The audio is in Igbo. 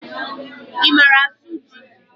I mara asụ jị?